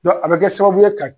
a be kɛ sababu ye ka